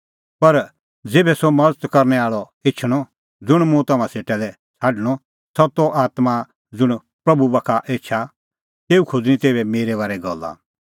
पर ज़ेभै सह मज़त करनै आल़अ एछणअ ज़ुंण मुंह तम्हां सेटा लै छ़ाडणअ सत्तो आत्मां ज़ुंण बाप्पू बाखा एछा तेऊ खोज़णीं तेभै मेरै बारै गल्ला